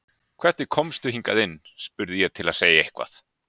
Hvernig komstu hingað inn? spurði ég til að segja eitthvað.